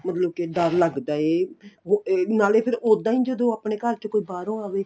ਉਹਨੂੰ ਕੀ ਡਰ ਲਗਦਾ ਏ ਉਹ ਏ ਨਾਲੇ ਫੇਰ ਉੱਦਾਂ ਏ ਜਦੋਂ ਆਪਣੇ ਘਰ ਚ ਕੋਈ ਬਾਹਰੋ ਆਵੇ